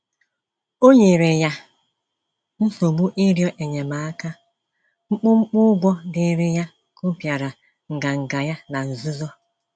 O nyere ya nsogbu ịrịọ enyemaka, mkpumkpu ụgwọ dịịrị ya kụpịara nganga ya na nzuzo.